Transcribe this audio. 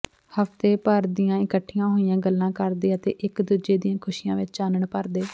ਹਫਤੇ ਭਰ ਦੀਆਂ ਇਕੱਠੀਆਂ ਹੋਈਆਂ ਗੱਲਾਂ ਕਰਦੇ ਅਤੇ ਇੱਕ ਦੂਜੇ ਦੀਆਂ ਖੁਸ਼ੀਆਂ ਵਿੱਚ ਚਾਨਣ ਭਰਦੇ